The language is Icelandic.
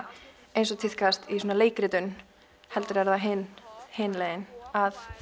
eins og tíðkast í leikritun heldur er það hin hin leiðin að